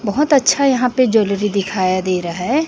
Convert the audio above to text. बहोत अच्छा यहां पे ज्वेलरी दिखाया दे रहा है।